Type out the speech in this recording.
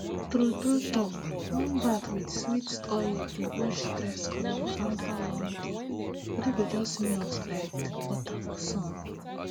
true true talk warm bath with sweet oil dey wash stress commot after long day body go just melt like butter for sun